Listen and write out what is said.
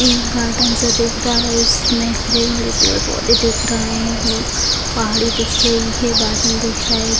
एक गार्डन सा दिख रहा है उसमे हरे-भरे पेड़-पौधे दिख रहा है पहाड़ी दिख रही है बादल दिख रहे।